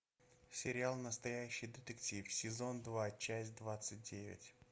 сериал настоящий детектив сезон два часть двадцать девять